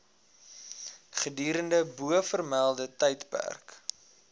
gedurende bovermelde tydperk